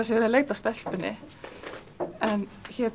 sé verið að leita að stelpunni en